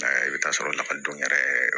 I bɛ taa sɔrɔ lakɔlidenw yɛrɛ